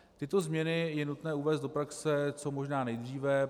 Tyto změny je nutné uvést do praxe co možná nejdříve.